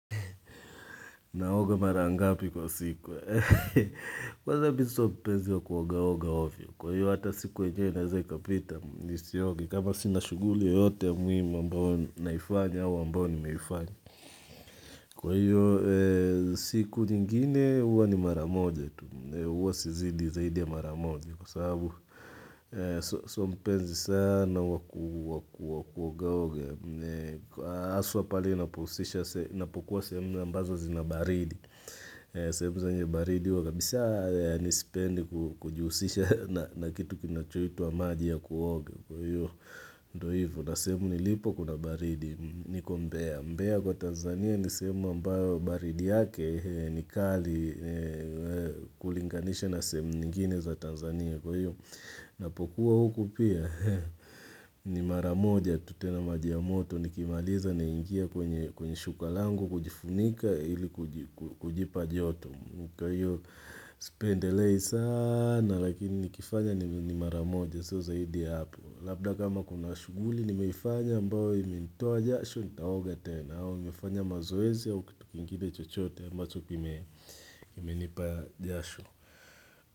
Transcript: Naoga mara ngapi kwa siku. Kwanza mi so mpenzi wa kuogaoga ovyo. Kwa hiyo hata siku enyeweineza ikapita. Kwa hiyo kama sina shughuli yote ya muimu ambao naifanya au ambao nimeifanya. Kwa hiyo siku ningine uwa ni mara moja. Uwa si zidi zaidi ya mara moja. Kwa sabu so mpenzi sana waku wakuogaoga. Aswa pale napohusisha napokuwa sehemu ambazo zina baridi. Sehemu zenye baridi huwa kabisa yaani sipendi kujihusisha na kitu kinachoitwa maji ya kuoga kwa hivyo. Na sehemu nilipo kuna baridi. Niko mbea. Mbea kwa Tanzania ni sehemu ambayo baridi yake ni kali kulinganisha na sehemu nyingine za Tanzania kwa hiyo. Ninapokuwa huku pia ni mara moja tu tena maji ya moto nikimaliza naingia kwenye shuka langu kujifunika ili kujipa joto. Kwa hiyo sipendelei sana lakini nikifanya ni maramoja sio zaidi hapo labda kama kuna shughuli nimefanya ambayo imenitoa jasho nitaoga tena au nimefanya mazoezi ya kitu kingine chochote ambacho kimenipa jasho.